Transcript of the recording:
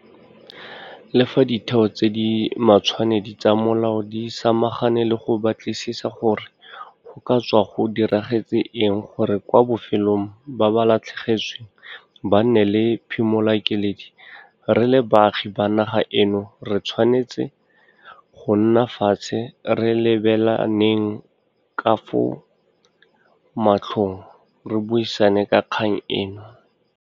Le fa ditheo tse di matshwanedi tsa molao di samagane le go batlisisa gore go ka tswa go diragetse eng gore kwa bofelong ba ba latlhegetsweng ba nne le phimolakeledi, re le baagi ba naga eno re tshwanetse go nna fatshe re lebelaneng ka fo matlhong re buisane ka kgang eno.